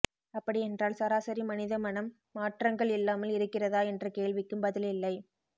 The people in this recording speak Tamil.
அப்படியென்றால் சராசரி மனிதமனம் மாற்றங்கள் இல்லாமல் இருக்கிறதா என்ற கேள்விக்கும் பதில் இல்லை